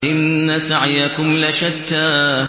إِنَّ سَعْيَكُمْ لَشَتَّىٰ